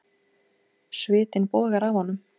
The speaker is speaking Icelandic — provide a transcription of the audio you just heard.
Svitinn bogar af honum.